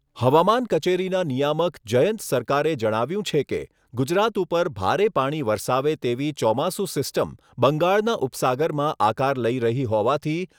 હવામાન કચેરીના નિયામક જયંત સરકારે જણાવ્યુંં છે કે ગુજરાત ઉપર ભારે પાણી વરસાવે તેવી ચોમાસું સિસ્ટમ બંગાળના ઉપસાગરમાં આકાર લઈ રહી હોવાથી